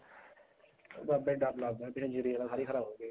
ਬਾਬੇ ਡਰ ਲੱਗਦਾ ਪਿੱਛੇ ਸਾਰੀ ਜੀਰੀ ਖਰਾਬ ਹੋਗੀ